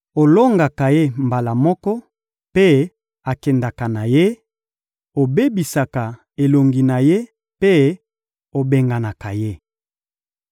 Olongaka ye mbala moko, mpe akendaka na ye; obebisaka elongi na ye mpe obenganaka ye.